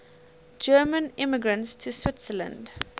german immigrants to switzerland